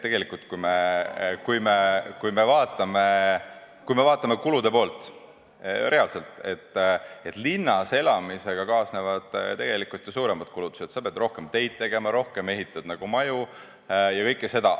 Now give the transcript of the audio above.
Tegelikult, kui me vaatame kulude poolt reaalselt, siis linnas elamisega kaasnevad ju suuremad kulutused, sa pead rohkem teid tegema, rohkem maju ehitama ja kõike seda.